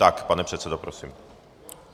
Tak pane předsedo, prosím.